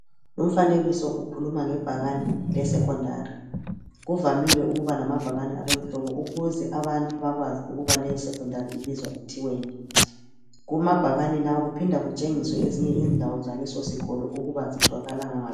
Umfanekiso ukhuluma ngebhakane lesecondary. Kuvamile ukuba lamabhakane aloluhlobo ukuze abantu bakwazi ukuba leyo secondary ibizwa ithiweni. Kumabhakane lawo kuphinda kutshengiswe ezinye izindawo zakuleso sikolo ukuba zitholakala ngaphi.